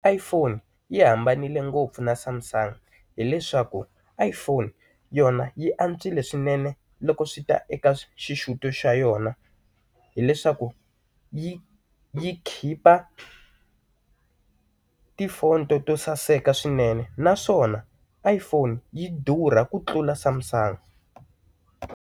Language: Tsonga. Iphone yi hambanile ngopfu na Samsung hileswaku Iphone yona yi antswile swinene loko swi ta eka xixuto xa yona hileswaku yi yi khipha tifoto to saseka swinene naswona IPhone yi durha ku tlula Samsung.